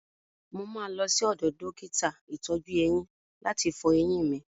Mo máa lọ sí ọdọ̀ dókítà ìtọ́jú-eyín láti fọ eyín mi.